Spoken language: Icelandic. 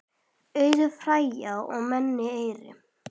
Auður Freyja og Nanna Eir.